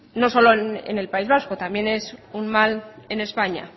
no solo en el país vasco también es un mal en españa